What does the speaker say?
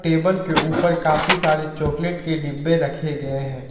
Table के ऊपर काफी सारे चॉकलेट के डिब्बे रखे गए हैं।